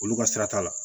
Olu ka sira t'a la